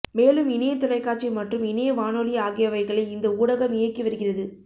மேலும் இணையத் தொலைக்காட்சி மற்றும் இணைய வானொலி ஆகியவைகளை இந்த ஊடகம் இயக்கி வருகிறது